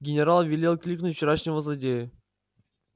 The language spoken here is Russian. генерал велел кликнуть вчерашнего злодея